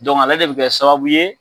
ale de bi kɛ sababu ye